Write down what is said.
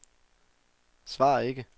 svar ikke